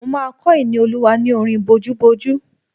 Mo máa kọ́ Ìníolúwa ní orin bojúbojú